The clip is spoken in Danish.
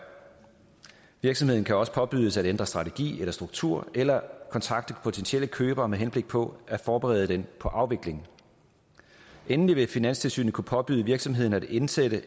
virksomheden kan også påbydes at ændre strategi eller struktur eller kontakte potentielle købere med henblik på at forberede dem på afvikling endelig vil finanstilsynet kunne påbyde virksomheden at indsætte